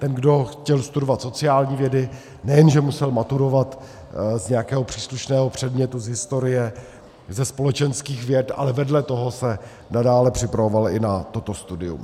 Ten, kdo chtěl studovat sociální vědy, nejenže musel maturovat z nějakého příslušného předmětu, z historie, ze společenských věd, ale vedle toho se nadále připravoval i na toto studium.